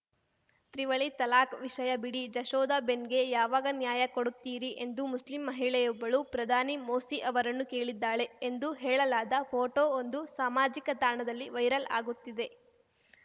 ತ್ರಿವಳಿ ತಲಾಕ್‌ ವಿಷಯ ಬಿಡಿ ಜಶೋಧ ಬೆನ್‌ಗೆ ಯಾವಾಗ ನ್ಯಾಯ ಕೊಡುತ್ತೀರಿ ಎಂದು ಮುಸ್ಲಿಂ ಮಹಿಳೆಯೊಬ್ಬಳು ಪ್ರಧಾನಿ ಮೋಸಿ ಅವರನ್ನು ಕೇಳಿದ್ದಾಳೆ ಎಂದು ಹೇಳಲಾದ ಫೋಟೊ ಒಂದು ಸಾಮಾಜಿಕ ತಾಣದಲ್ಲಿ ವೈರಲ್ ಆಗುತ್ತಿದೆ